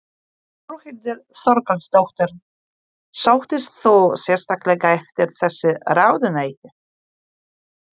Þórhildur Þorkelsdóttir: Sóttist þú sérstaklega eftir þessu ráðuneyti?